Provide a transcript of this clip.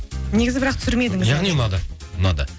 негізі бірақ түсірмедіңіз ұнады